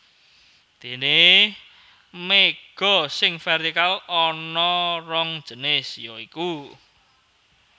Déné méga sing vértikal ana rong jinis ya iku